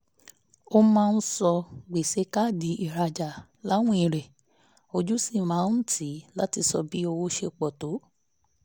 ó máa ń ṣọ́ gbèsè káàdì ìrajà láwìn rẹ̀ ojú sì máa ń tì í láti sọ bí owó ṣe pọ̀